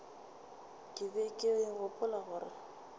ke be ke gopola gore